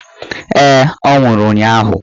Ee, ọ nwụrụ ụnyaahụ.